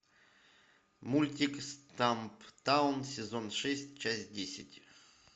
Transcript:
мультик стамптаун сезон шесть часть десять